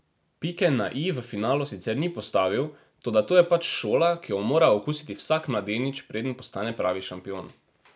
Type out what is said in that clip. Pike na i v finalu sicer ni postavil, toda to je pač šola, ki jo mora okusiti vsak mladenič, preden postane pravi šampion.